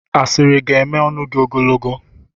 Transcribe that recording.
asịrị ga-eme ọnụ gị ogologo.